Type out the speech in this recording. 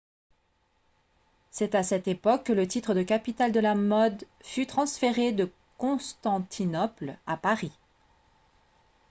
c'est à cette époque que le titre de capitale de la mode fut transféré de constantinople à paris